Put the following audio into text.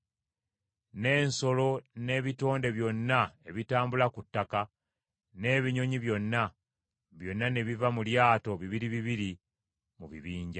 N’ensolo n’ebitonde byonna ebitambula ku ttaka, n’ebinyonyi byonna, byonna ne biva mu lyato bibiri bibiri mu bibinja.